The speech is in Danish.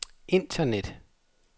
internet